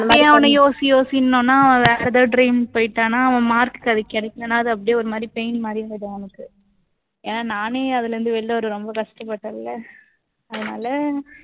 இப்பயே அவனை யோசி யோசின்னோம்னா அவன் வேற எதாவது dream போயிட்டான்னா அவன் mark க்கு அது கிடைக்கலைன்னா அது அப்படியே ஒரு மாதிரி pain மாதிரி ஆயிடும் அவனுக்கு. ஏன்னா நானே அதுல இருந்து வெளில வர ரொம்ப கஷ்டப்பட்டேன்ல அதனால